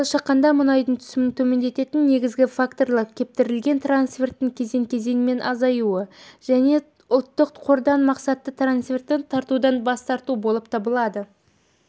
жылы шаққанда мұнайдың түсімін төмендететін негізгі факторлар кепілдендірілген трансферттің кезең-кезеңмен азаюы және ұлттық қордан мақсатты трансфертті тартудан бас тарту болып табылады